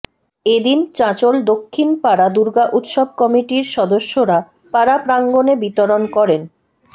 এদিন চাঁচোল দক্ষিণ পাড়া দুর্গা উৎসব কমিটির সদস্যরা পাড়া প্রাঙ্গণে বিতরণ করেন